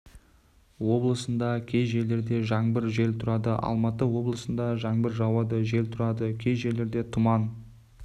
облысында кей жерлерде жаңбыр жел тұрады алматы облысында жаңбыр жауады жел тұрады кей жерлерде тұман